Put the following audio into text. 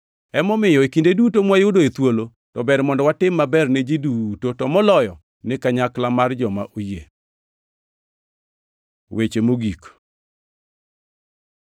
Emomiyo, e kinde duto mwayudoe thuolo, to ber mondo watim maber ni ji duto, to moloyo ni kanyakla mar joma oyie. Weche mogik